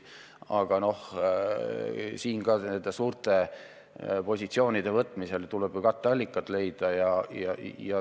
Aga nende suurte positsioonide võtmisel tuleb ju katteallikad leida.